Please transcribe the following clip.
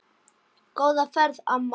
Góða ferð, amma.